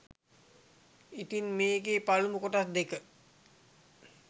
ඉතින් මේකෙ පළමු කොටස් දෙක